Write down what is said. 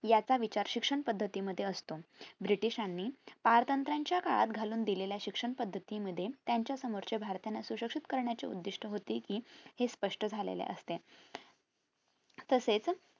याचा विचार शिक्षण पद्धती मध्ये असतो ब्रिटिशांनी पारतंत्राच्या काळात घालून दिलेल्या शिक्षण पद्धती मध्ये त्यांच्या समोरचे भारतीय याना सुशिक्षित करण्याचे उद्दिष्ट होते कि हे स्पष्ट झालेले असते तसेच